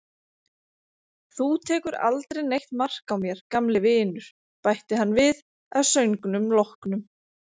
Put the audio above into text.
Þú tekur aldrei neitt mark á mér, gamli vinur, bætti hann við að söngnum loknum.